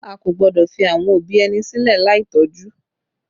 A kò gbọ́dọ̀ fi àwọn òbí ẹni sílẹ̀ láì tọ́jú